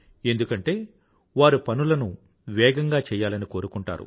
ఎందుకంటే వారు పనులను వేగంగా చెయ్యాలని కోరుకుంటారు